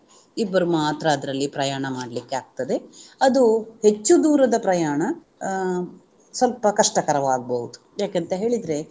ಇಬ್ಬರು ಮಾತ್ರ ಅದರಲ್ಲಿ ಪ್ರಯಾಣ ಮಾಡ್ಲಿಕ್ಕೆ ಆಗ್ತದೆ ಅದು ಹೆಚ್ಚು ದೂರದ ಪ್ರಯಾಣ ಅಹ್ ಸ್ವಲ್ಪ ಕಷ್ಟಕರವಾಗಬಹುದು ಯಾಕಂತ ಹೇಳಿದ್ರೆ